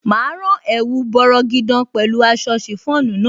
Máa rán ẹ̀wù bọrọgidan pẹ̀lú aṣọ chiffon náà.